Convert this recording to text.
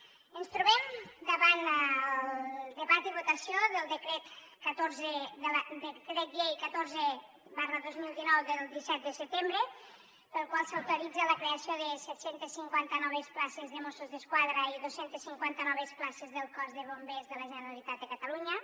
ens trobem davant el debat i votació del decret llei catorze dos mil dinou del disset de setembre pel qual s’autoritza la creació de set cents i cinquanta noves places de mossos d’esquadra i dos cents i cinquanta noves places del cos de bombers de la generalitat de catalunya